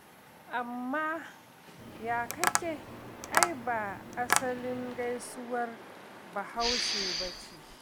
Amma "ya kake" ai ba asalin gaisuwar Bahaushe ba ce.